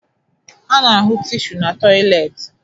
A na-ahụ tishu na tọyịleetị